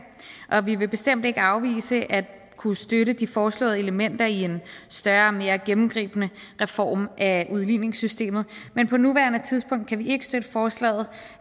og vi vil bestemt ikke afvise at kunne støtte de foreslåede elementer i en større og mere gennemgribende reform af udligningssystemet men på nuværende tidspunkt kan vi ikke støtte forslaget